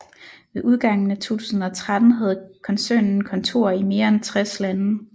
Ved udgangen af 2013 havde koncernen kontorer i mere end 60 lande